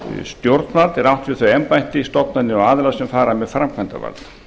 stjórnvald er átt við þau embætti stofnanir og aðra sem fara með framkvæmdarvald